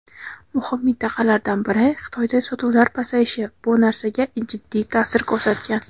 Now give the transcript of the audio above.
muhim mintaqalardan biri – Xitoyda sotuvlar pasayishi bu narsaga jiddiy ta’sir ko‘rsatgan.